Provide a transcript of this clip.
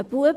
Ein Bub,